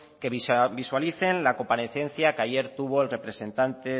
que visualicen la comparecencia que ayer tuvo el representante